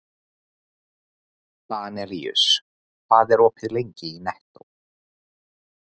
Danelíus, hvað er opið lengi í Nettó?